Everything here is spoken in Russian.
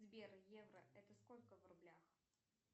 сбер евро это сколько в рублях